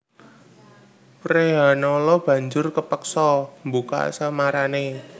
Wrehanala banjur kapeksa mbuka samarané